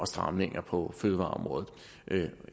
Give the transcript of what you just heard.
stramninger på fødevareområdet